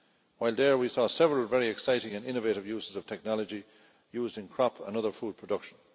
While there we saw several very exciting and innovative uses of technology in crop and other food production.